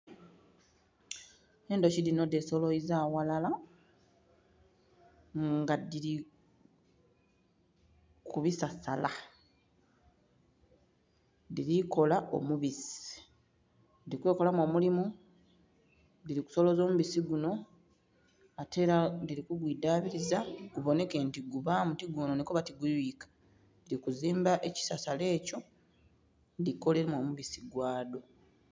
Endhuki dhino dhe soloziza ghalala nga dhiri ku bisasala dhiri kola omubisi dhili kwekolamu omulimu dhiri ku soloza omubisi gunho ate era dhili ku kwidhabiriza gubonheka nti gubamu ti gwononheka oba ti guyuyika. Dhiri ku zimba ebisasala ekyo dhikolemu omubisi gwadho.